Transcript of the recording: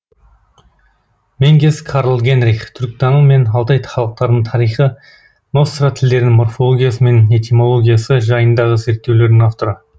менгес карл генрих түркітану мен алтай халықтарының тарихы ностра тілдерінің морфологиясы мен этимологиясы жайындағы зерттеулердің авторы